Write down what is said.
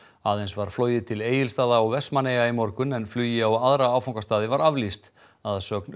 aðeins var flogið til Egilsstaða og Vestmannaeyja í morgun en flugi á aðra áfangastaði var aflýst að sögn